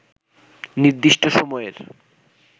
নির্দিষ্ট সময়ের